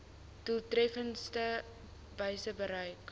doeltreffendste wyse bereik